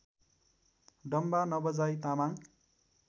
Damba Nabajai Tamang